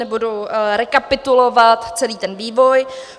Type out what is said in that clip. Nebudu rekapitulovat celý ten vývoj.